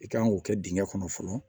I kan k'o kɛ dingɛ kɔnɔ fɔlɔ